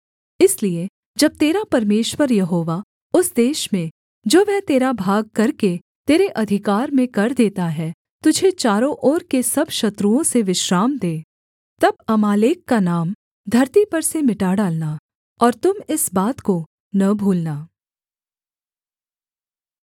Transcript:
इसलिए जब तेरा परमेश्वर यहोवा उस देश में जो वह तेरा भाग करके तेरे अधिकार में कर देता है तुझे चारों ओर के सब शत्रुओं से विश्राम दे तब अमालेक का नाम धरती पर से मिटा डालना और तुम इस बात को न भूलना